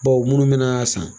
Bawo minnu bɛ n'a san.